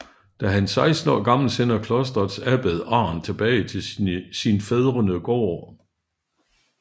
Da han er 16 år gammel sender klostrets abbed Arn tilbage til sin fædrene gård